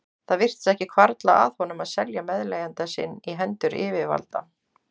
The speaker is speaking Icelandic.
Það virtist ekki hvarfla að honum að selja meðleigjanda sinn í hendur yfirvalda.